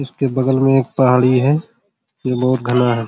इसके बगल मे एक पहाड़ी है ये बहुत घना है।